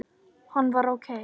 Hann var ókei.